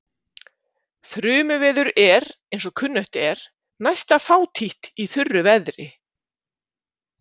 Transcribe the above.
Þrumuveður er, eins og kunnugt er, næsta fátítt í þurru veðri.